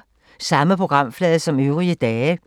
Samme programflade som øvrige dage